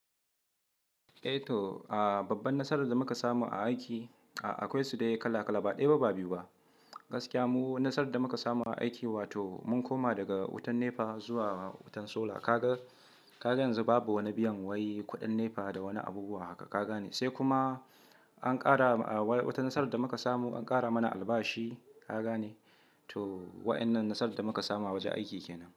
Eh to, babban nasarar da muka samu a aiki akwai su dai kala kala, ba ɗaya ba, ba biyu ba. Gaskiya mu nasarar da muka samu a aiki wato mun koma daga wutan NEPA zuwa wutan solar. Kaga yanzu babu wani biyan wai kuɗin NEPA da wani abubuwa haka, kaga ne? Sai kuma an ƙara watan nasarar da muka samu, an ƙara mana albashi, kaga ne? To waɗannan nasarar da muka samu a wajen aiki kenan.